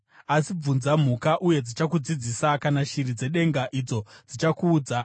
“Asi bvunza mhuka, uye dzichakudzidzisa, kana shiri dzedenga, idzo dzichakuudza;